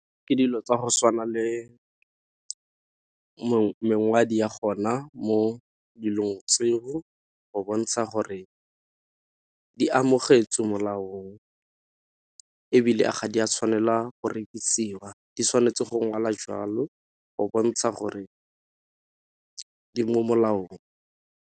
Ke dilo tsa go tshwana le ya gona mo dilong tseo go bontsha gore di amogetswe molaong, ebile ga di a tshwanela go rekisiwa di tshwanetse go ngwala jwalo go bontsha gore di mo molaong.